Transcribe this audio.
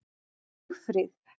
Sigfríð